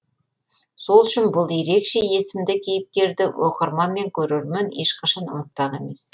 сол үшін бұл ерекше есімді кейіпкерді оқырман мен көрермен ешқашан ұмытпақ емес